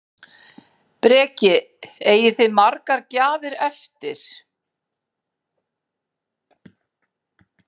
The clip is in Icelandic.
Breki: Eigið þið margar gjafir eftir?